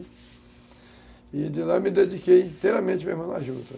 E de lá eu me dediquei inteiramente a juta.